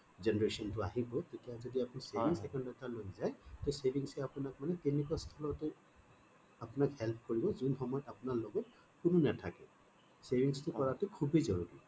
generation টো আহিব তেতিয়া যদি আপুনি savings account এটা লৈ যায় সেই savings এ আপোনাক তেনেকুৱা স্থথলতে help কৰিব যোন সময়ত আপোনাৰ লগত কোনো নাথাকে savings টো কৰাটো খুবয়েই জৰুৰী